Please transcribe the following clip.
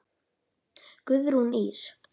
Guðrún Ýr.